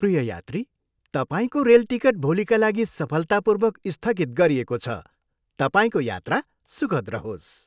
प्रिय यात्री, तपाईँको रेल टिकट भोलिका लागि सफलतापूर्वक स्थगित गरिएको छ। तपाईँको यात्रा सुखद रहोस्!